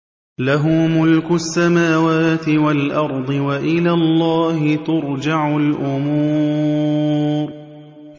لَّهُ مُلْكُ السَّمَاوَاتِ وَالْأَرْضِ ۚ وَإِلَى اللَّهِ تُرْجَعُ الْأُمُورُ